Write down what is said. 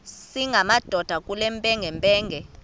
singamadoda kule mpengempenge